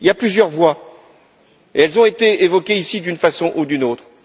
Il y a plusieurs voies et elles ont été évoquées ici d'une façon ou d'une autre.